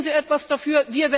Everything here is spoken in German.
Tun Sie etwas dafür.